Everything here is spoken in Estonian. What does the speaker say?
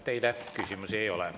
Teile küsimusi ei ole.